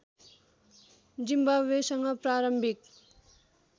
जिम्बाब्वेसँग प्रारम्भिक